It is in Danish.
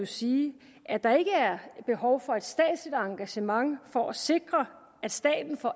sige at der ikke er behov for et statsligt engagement for at sikre at staten får